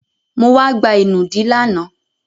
Mo wá gba ìnùdí lánàá.